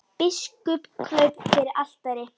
Biskup kraup fyrir altari.